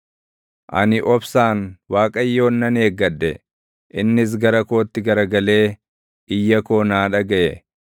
Ani obsaan Waaqayyoon nan eeggadhe; innis gara kootti garagalee iyya koo naa dhagaʼe.